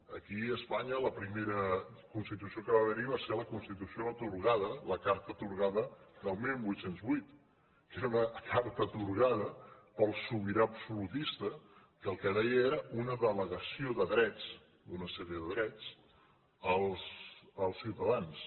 aquí a espanya la primera constitució que va haver hi va ser la constitució atorgada la carta atorgada de divuit zero vuit que era una carta atorgada pel sobirà absolutista que el que deia era una delegació de drets d’una sèrie de drets als ciutadans